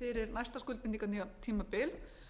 fyrir næsta skuldbindinga tímabil en